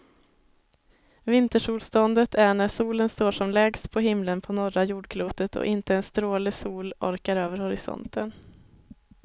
Vintersolståndet är när solen står som lägst på himlen på norra jordklotet och inte en stråle sol orkar över horisonten.